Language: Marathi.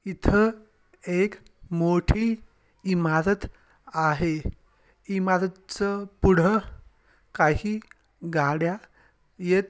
इथ एक मोठी इमारत आहे इमारत च पुढ काही गाड्या येत--